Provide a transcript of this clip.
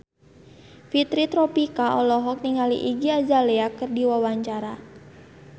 Fitri Tropika olohok ningali Iggy Azalea keur diwawancara